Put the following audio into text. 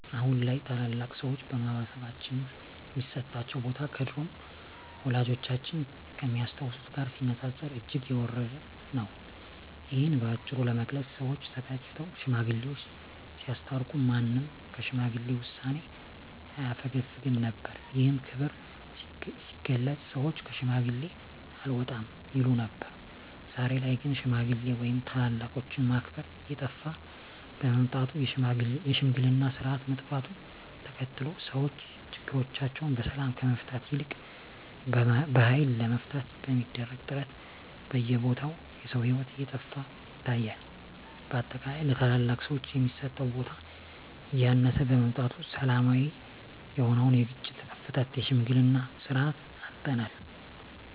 አሁን ላይ ታላላቅ ሰዎች በማህበረሰባችን ሚሰጣቸው ቦታ ከድሮው ወላጆቻችን ከሚያስታውሱት ጋር ሲነጻጸር እጅግ የወረደ ነው። እሂን በአጭሩ ለመግለጽ ሰወች ተጋጭተው ሽማግሌወች ሲያስታርቁ ማንም ከሽማግሌ ውሳኔ አያፈገፍግም ነበር። ይህም ክብር ሲገለጽ ሰወች ከሽማግሌ አልወጣም ይሉ ነበር። ዛሬ ላይ ግን ሽማግሌ ወይም ታላላቆችን ማክበር እየጠፋ በመምጣቱ የሽምግልናው ስርአት መጥፋቱን ተከትሎ ሰወች ችግሮቻቸውን በሰላም ከመፍታት ይልቅ በሀይል ለመፍታት በሚደረግ ጥረት በየቦታው የሰው ሂወት እየጠፋ ይታያል። በአጠቃላይ ለታላላቅ ሰወች የሚሰጠው ቦታ እያነሰ በመምጣቱ ሰላማዊ የሆነውን የግጭት አፈታት የሽምግልናን ስርአት አጠናል።